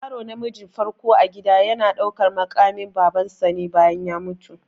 Yaro namiji na farko a gida yana ɗaukan maƙamin baban sa ne bayan ya mutu